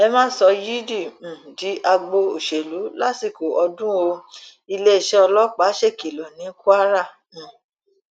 ẹ má sọ yídì um di agbo òṣèlú lásìkò ọdún ó iléeṣẹ ọlọpàá ṣèkìlọ ní kwara um